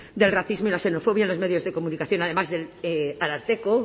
del racismo y la xenofobia en los medios de comunicación además del ararteko